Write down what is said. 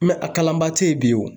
a kalanbaa tɛ yen bi